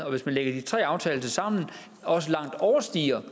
og hvis man lægger de tre aftaler sammen overstiger